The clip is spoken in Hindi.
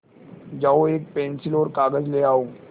जाओ एक पेन्सिल और कागज़ ले आओ